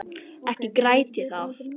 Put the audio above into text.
Ekki græt ég það.